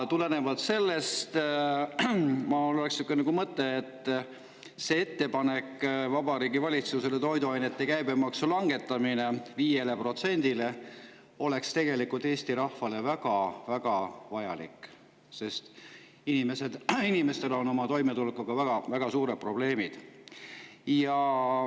Tulenevalt sellest oleks mul niisugune mõte, et see ettepanek Vabariigi Valitsusele, toiduainete käibemaksu langetamine 5%‑le, oleks tegelikult Eesti rahvale väga-väga vajalik, sest inimestel on toimetulekuga väga suured probleemid.